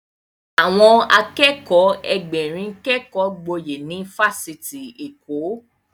Àwọn Akẹ́kọ̀ọ́ Ẹgbẹ̀rin kékọ gboyè ní ifásitì Èkó